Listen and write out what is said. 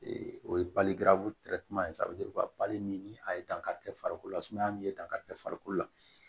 o ye baliku min ni a ye dankari kɛ farikolo la sumaya min ye dankari kɛ farikolo la